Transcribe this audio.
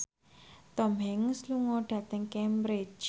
Tom Hanks lunga dhateng Cambridge